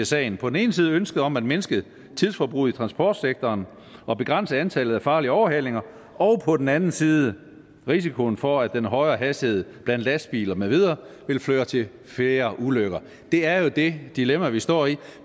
sagen på den ene side ønsket om at mindske tidsforbruget i transportsektoren og begrænse antallet af farlige overhalinger og på den anden side risikoen for at den højere hastighed blandt lastbiler med videre vil føre til flere ulykker det er jo det dilemma vi står i